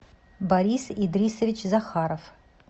борис идрисович захаров